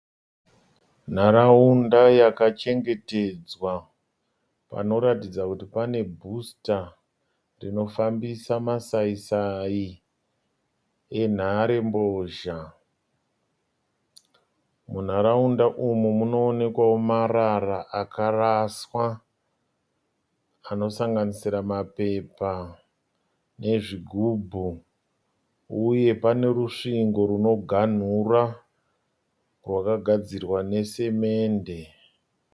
Nharaunda yakachengetedzwa panoratidza kuti pane bhusita rinofambisa masai sai enhare mbozha. Munharaunda umu munoonekwawo marara akaraswa anosanganisira mapepa nezvigubhu uye pane rusvingo runoganhura rwakagadzirwa nesimende